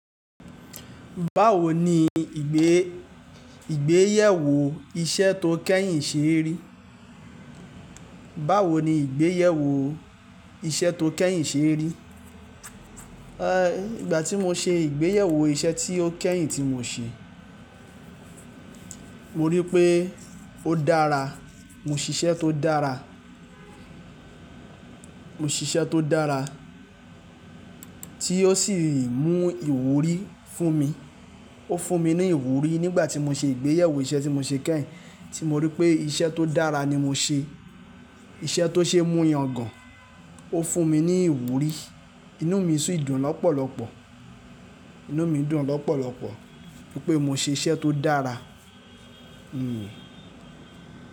Báwo ni ìgbéyèwò iṣẹ́ tó kẹ́yìn ṣe rí? Báwo ni ìgbéyèwò iṣẹ́ tó kẹ́yìn ṣe rí? Ìgbà tí mo ṣe ìgbéyèwò iṣẹ́ tí ó kẹ́yìn tí mo ṣe, mo rí pé ó dára. Mo ṣiṣẹ́ tó dára, mo ṣiṣẹ́ tó dára tí ó sì mú ìwúrí fún mi. Ó fún mi ní ìwúrí nígbà tí mo ṣe ìgbéyèwò iṣẹ́ tí mo ṣe kẹ́yìn tí mo rí pé iṣẹ́ tó dára ni mo ṣe. Iṣẹ́ tó ṣe é mú yangàn. Ó fún mi ní ìwúrí. Inú mi sì dùn lọ́pọ̀lọpọ̀. Inú mi dùn lọ́pọ̀lọpọ̀ nítorí pé mo ṣe iṣẹ́ tó dára. Hmm.